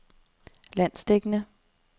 landsdækkende